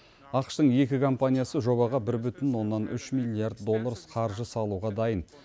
ақш тың екі компаниясы жобаға бір бүтін оннан үш миллиард доллар қаржы салуға дайын